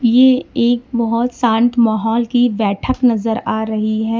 ये एक बहोत शान्त माहौल की बैठक नजर आ रही है।